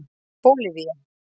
Bólivía